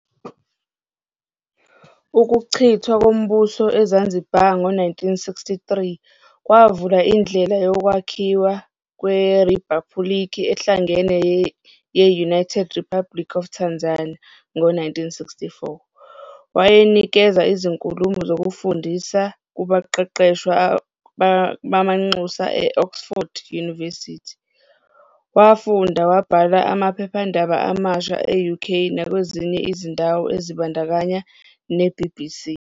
Ukuchithwa kombuso eZanzibar ngo-1963 kwavula indlela yokwakhiwa kweribhaphuliki ehlangene ye-United Republic of Tanzania ngo-1964. Wayenikeza izinkulumo zokufundisa kubaqeqeshwa bamanxusa e-Oxford University, wafunda, wabhala amaphephandaba amasha e-UK nakwezinye izindawo ezibandakanya ne-BBC.